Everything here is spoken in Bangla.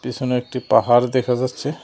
পেছনে একটি পাহাড় দেখা যাচ্ছে।